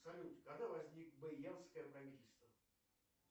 салют когда возникло боянское правительство